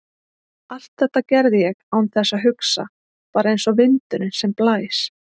Allt þetta gerði ég án þess að hugsa, bara einsog vindurinn sem blæs.